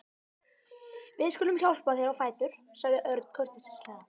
Við skulum hjálpa þér á fætur sagði Örn kurteislega.